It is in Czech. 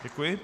Děkuji.